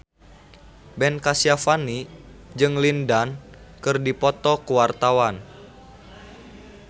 Ben Kasyafani jeung Lin Dan keur dipoto ku wartawan